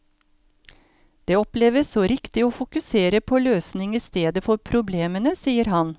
Det oppleves så riktig å fokusere på løsning i stedet for problemene, sier han.